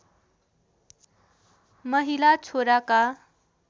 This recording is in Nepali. माहिला छोराका